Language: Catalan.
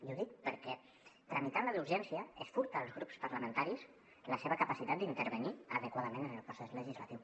i ho dic perquè tramitant la d’urgència es furta als grups parlamentaris la seva capacitat d’intervenir adequadament en el procés legislatiu